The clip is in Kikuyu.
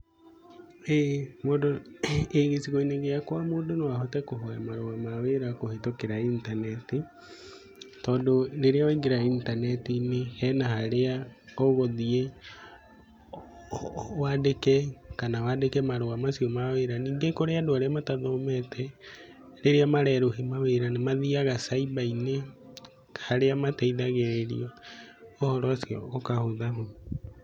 ĩ mũndũ, ĩ gĩcigo-inĩ gĩakwa mũndũ no ahote kũhoya marũa ma wĩra kũhĩtũkira intaneti, tondũ rĩrĩa waingĩra intaneti-inĩ hena harĩa ũgũthiĩ wandĩke kana wandĩke marũa macio ma wĩra. Ningĩ kũrĩ andũ arĩa matathomete, rĩrĩa marerũhia mawĩra nĩ mathiaga cyber -inĩ harĩa mateithagĩrĩrio ũhoro ũcio ũkahũthahũtha.